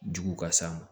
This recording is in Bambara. Jugu ka s'a ma